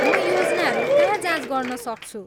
म योजनाहरू कहाँ जाँच गर्न सक्छु?